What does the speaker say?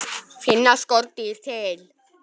Finna skordýr til?